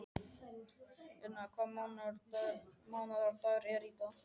Una, hvaða mánaðardagur er í dag?